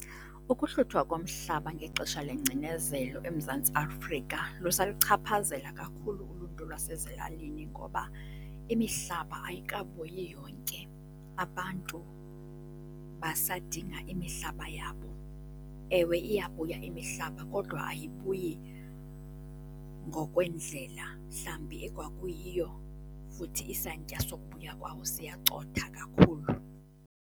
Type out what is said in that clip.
Ukuhluthwa komhlaba ngexesha lengcinezelo eMzantsi Afrika lusaluchaphazela kakhulu uluntu lwasezilalini ngoba imihlaba ayikabuyi yonke. Abantu basadinga imihlaba yabo. Ewe, iyabuya imihlaba kodwa ayibuyi ngokwendlela mhlawumbi ekwakuyiyo futhi isantya sokubuya kwawo siyacotha kakhulu.